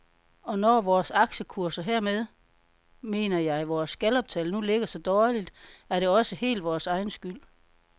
Og når vores aktiekurser, hermed mener jeg vores galluptal, nu ligger så dårligt, er det også helt vores egen skyld.